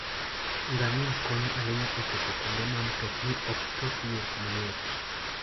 Ngamia konyo ahinya e chopo kuonde ma mtokni ok chopie mayot.